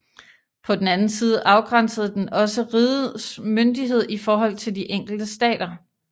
På den anden side afgrænsede den også rigets myndighed i forhold til de enkelte stater